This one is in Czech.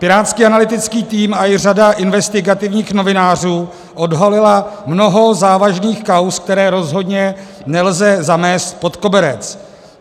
Pirátský analytický tým a i řada investigativních novinářů odhalily mnoho závažných kauz, které rozhodně nelze zamést pod koberec.